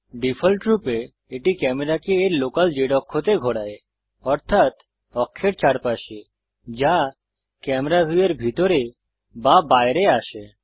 ডিফল্টরূপে এটি ক্যামেরাকে এর লোকাল Z অক্ষতে ঘোরায় অর্থাত অক্ষের চারপাশে যা ক্যামেরা ভিউয়ের ভিতরে বা বাইরে আসে